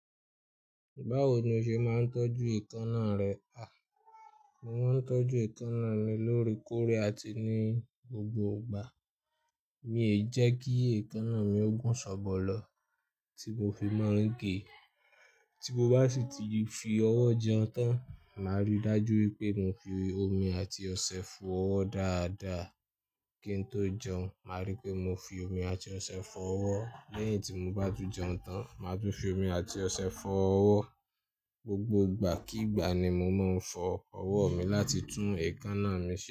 Báwo ni o ṣe máa ń tọ́jú èékánná rẹ? A! Mo máa ń tọ́jú èékánná mi lóre kórè àti ní gbogbo ìgbà. Mi ò jẹ́ kí èékánná mi ó gún ṣòbò lọ tí mo fi n máa ń gé. Tí mo bá sì ti fi ọwọ́ jẹun tán, màá ríi dájú wípé mo fi omi àti ọṣẹ fọ ọwọ́ dáadáa kí n tó jẹun. Màá ríi pé mo fi omi àti ọṣẹ fọ ọwọ́ lẹ́yìn tí mo bá ti jẹun tán. Màá tún fi omi àti ọṣẹ fọ ọwọ́ gbogbo ìgbà. Kí ìgbà ni mo máa ń fọ ọwọ́ mi láti tún èékánná mi se.